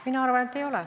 Mina arvan, et ei ole.